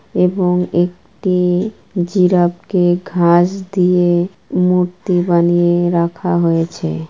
এবং একটি জিরাফকে ঘাস দিয়ে মূর্তি বানিয়ে রাখা হয়েছে ।